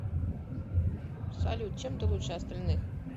салют чем ты лучше остальных